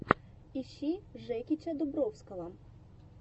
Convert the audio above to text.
ищи жекича дубровского